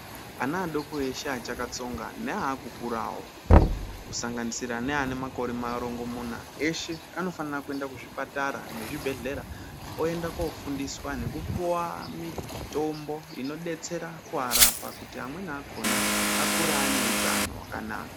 Ana adoko eshe achakatsonga neaakukurawo, kusanganisira neane makore marongomuna, eshe anofanira kuenda kuzvipatara nezvibhedhlera oenda koofundiswa nekupuwa mitombo inodetsera kuarapa, kuti amweni akhona akure ane utano hwakanaka.